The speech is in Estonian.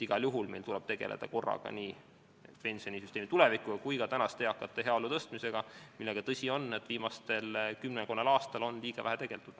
Igal juhul tuleb meil tegeleda korraga nii pensionisüsteemi tulevikuga kui ka tänaste eakate heaolu parandamisega, millega, tõsi, on viimasel kümmekonnal aastal liiga vähe tegeldud.